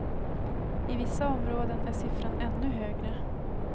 I vissa områden är siffran ännu högre.